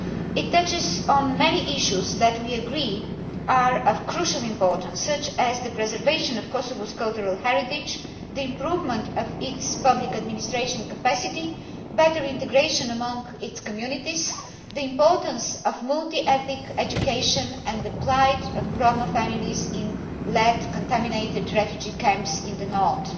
It touches on many issues that we agree are of crucial importance, such as the preservation of Kosovo's cultural heritage, the improvement of its public administration capacity, better integration among its communities, the importance of multi ethnic education, and the plight of Roma families in lead contaminated refugee camps in the north.